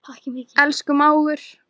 Elsku mágur.